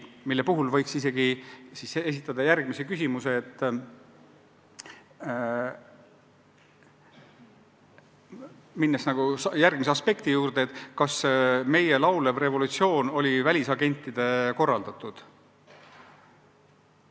Selle peale võiks järgmise aspekti juurde minnes isegi esitada küsimuse, kas meie laulev revolutsioon oli välisagentide korraldatud.